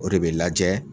O de bɛ lajɛ